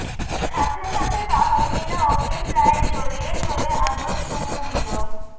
সাথে সাথে তাহমিনা ওকে প্রায় জড়িয়ে ধরে আদর চুমু দিল